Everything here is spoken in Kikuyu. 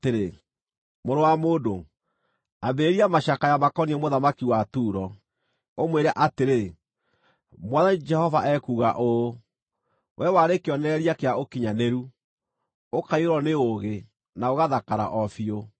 “Mũrũ wa mũndũ, ambĩrĩria macakaya makoniĩ mũthamaki wa Turo, ũmwĩre atĩrĩ: ‘Mwathani Jehova ekuuga ũũ: “ ‘Wee warĩ kĩonereria kĩa ũkinyanĩru, ũkaiyũrwo nĩ ũũgĩ, na ũgathakara o biũ.